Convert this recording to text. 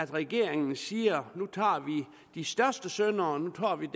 regeringen siger nu tager vi de største syndere nu tager vi